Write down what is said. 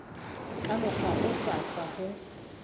ka mokgwa o hlwahlwa ho